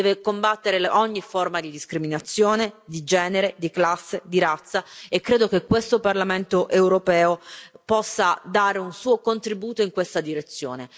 deve combattere ogni forma di discriminazione di genere, di classe, di razza, e credo che questo Parlamento europeo possa dare un suo contributo in questa direzione.